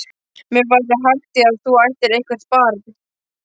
Mér væri þægð í að þú ættir eitthvert barn.